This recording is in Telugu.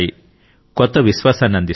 కొత్త విశ్వాసాన్ని అందిస్తాయి